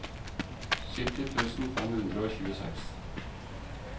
sytti tusen fem hundre og tjueseks